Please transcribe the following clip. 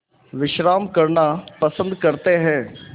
विश्राम करना पसंद करते हैं